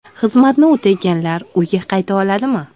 Xizmatni o‘taganlar uyga qayta oladimi?